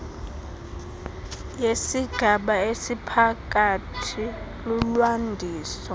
yesigaba esiphakathi lulwandiso